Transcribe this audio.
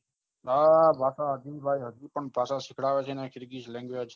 હા વાતો સાંભળી હજુ ભાષા સીખડાવે છે કિરકિર language